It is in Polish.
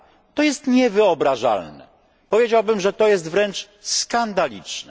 To jest niewyobrażalne, powiedziałbym, że to jest wręcz skandaliczne.